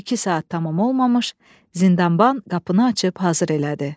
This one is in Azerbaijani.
İki saat tamam olmamış, zindanban qapını açıb hazır elədi.